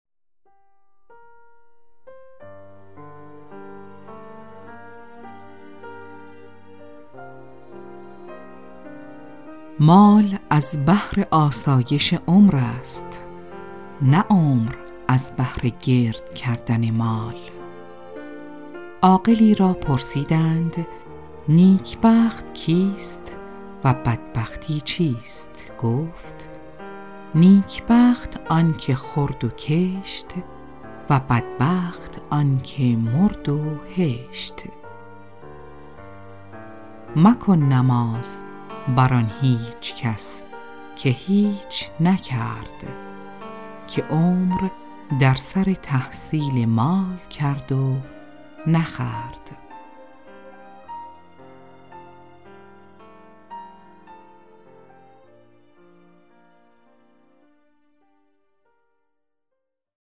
مال از بهر آسایش عمر است نه عمر از بهر گرد کردن مال عاقلی را پرسیدند نیک بخت کیست و بدبختی چیست گفت نیک بخت آن که خورد و کشت و بدبخت آن که مرد و هشت مکن نماز بر آن هیچ کس که هیچ نکرد که عمر در سر تحصیل مال کرد و نخورد